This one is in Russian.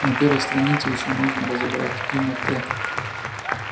на первой странице ещё можно разобрать имя т